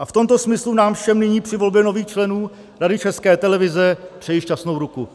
A v tomto smyslu nám všem nyní při volbě nových členů Rady České televize přeji šťastnou ruku.